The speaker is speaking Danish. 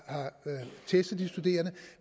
testet de studerende